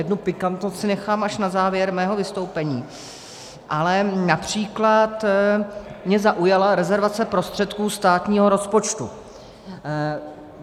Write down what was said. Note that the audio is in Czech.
Jednu pikantnost si nechám až na závěr svého vystoupení, ale například mě zaujala rezervace prostředků státního rozpočtu.